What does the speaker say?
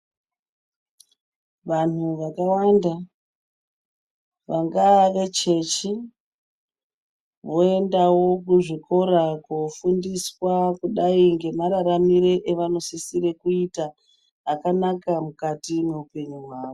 Vanhu vakawanda vanga vechechi, voyendawo kuzvikora kofundiswa kudayi ngemararamire evanosisire kuita akanaka mukati mowupenyu wawo.